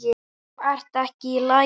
Þú ert ekki í lagi.